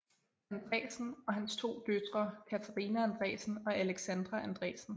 Andresen og hans to døtre Katharina Andresen og Alexandra Andresen